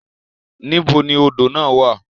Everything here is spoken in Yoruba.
Nibo ni odo na wa?